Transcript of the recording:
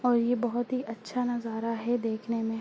और ये बहुत ही अच्छा नजारा है देखने में।